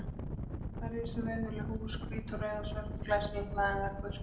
Þar risu virðuleg hús, hvít og rauð og svört og glæsilega hlaðinn veggur.